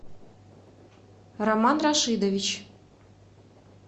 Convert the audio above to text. роман рашидович